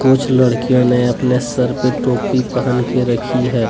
कुछ लड़कियों ने अपने सर पे टोपी पहन के रखी है।